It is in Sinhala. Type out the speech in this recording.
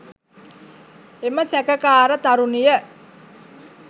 එම සැකකාර තරුණිය